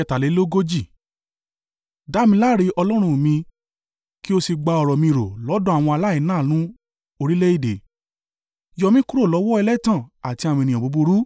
Dá mi láre, Ọlọ́run mi, kí o sì gba ọ̀rọ̀ mi rò lọ́dọ̀ àwọn aláìláàánú orílẹ̀-èdè: yọ mí kúrò lọ́wọ́ ẹlẹ́tàn àti àwọn ènìyàn búburú.